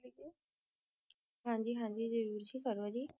ਹਨ ਗ ਮੇਨੂ ਜਾਨ ਨਾ ਪਾਓ ਪੰਜਾਬੀ